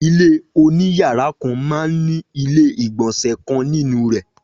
Ilé oní yàrá kan man ní ilé ìgbọ̀nsẹ̀ kan nínú rè